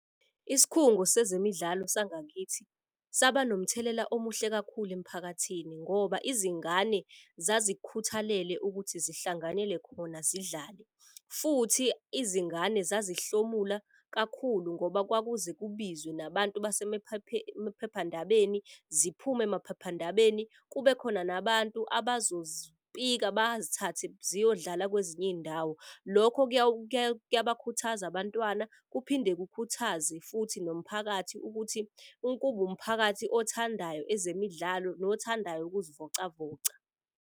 Isikhungo sezemidlalo sangakithi saba nomthelela omuhle kakhulu emphakathini ngoba izingane zazikhuthalele ukuthi ngihlanganele khona zidlale. Futhi izingane zazihlomula kakhulu ngoba kwakuze kubizwe nabantu emaphephandabeni ziphume emaphephandabeni. Kube khona nabantu abazozipika bazithathe ziyodlala kwezinye iy'ndawo. Lokho kuyabakhuthaza abantwana, kuphinde kukhuthaze futhi nomphakathi. Ukuthi ukuba umphakathi othandayo ezemidlalo, nothandayo ukuzivocavoca.